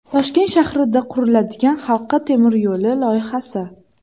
Toshkent shahrida quriladigan halqa temir yo‘li loyihasi.